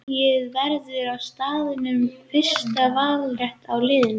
Dregið verður á staðnum um fyrsta valrétt á liðum.